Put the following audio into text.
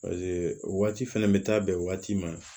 o waati fɛnɛ bɛ taa bɛn waati ma